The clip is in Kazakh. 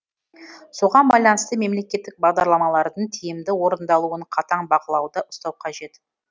соған байланысты мемлекеттік бағдарламалардың тиімді орындалуын қатаң бақылауда ұстау қажет